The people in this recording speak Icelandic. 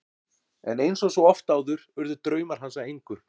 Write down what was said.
En eins og svo oft áður urðu draumar hans að engu.